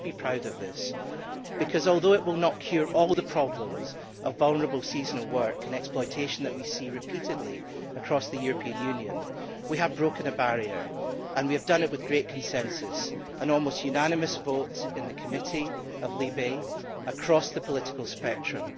We should be proud of that, because although it will not cure all the problems of vulnerable seasonal workers and exploitation that we see repeatedly across the European Union, we have broken a barrier, and we have done it with great consensus an almost unanimous vote in the LIBE Committee, across the political spectrum.